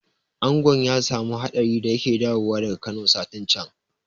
Angon ya samu hadari da yake dawowa daga Kano satin can